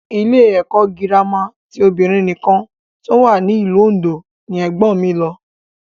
Ilé ẹ̀kọ́ gírámà ti obìnrin nìkan tó wà ní ìlú Òndó ni ẹ̀gbọ́n mi lọ